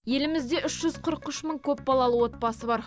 елімізде үш жүз қырық үш мың көпбалалы отбасы бар